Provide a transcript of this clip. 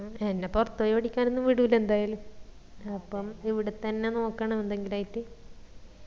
ആ എന്ന പൊറത് പോയി പഠിക്കാനൊന്നും വിടൂല എന്തായാലും അപ്പൊ ഇവിടെത്തന്നെ നോക്കണം എന്തെങ്കിലും ആയിട്ട്